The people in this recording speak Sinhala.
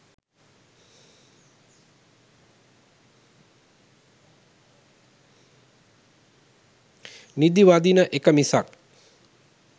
නිදිවදින එක මිසක්